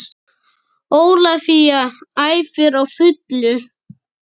Ólafía æfir á fullu